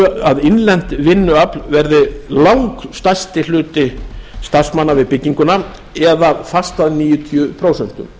að innlent vinnuafl verði langstærsti hluti starfsmanna við bygginguna eða fast að níutíu prósent